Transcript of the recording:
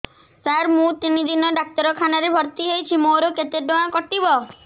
ସାର ମୁ ତିନି ଦିନ ଡାକ୍ତରଖାନା ରେ ଭର୍ତି ହେଇଛି ମୋର କେତେ ଟଙ୍କା କଟିବ